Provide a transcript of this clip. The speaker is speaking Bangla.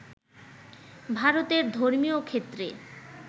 ভারতের ধর্মীয় ক্ষেত্রে